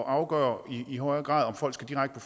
at afgøre i højere grad om folk skal direkte